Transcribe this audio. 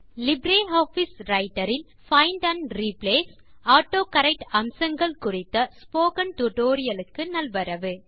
LibreOffice Writer இல் find and replace autocorrect அம்சங்கள் குறித்த ஸ்போக்கன் டியூட்டோரியல் க்கு நல்வரவு